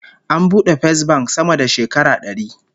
An bude Fesbank sama da shekara dari